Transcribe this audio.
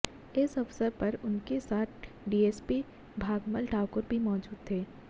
इस अवसर पर उनके साथ डीएसपी भागमल ठाकुर भी मौजूद थे